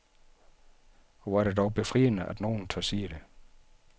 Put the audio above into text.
Og hvor er det dog befriende, at nogen tør sige det.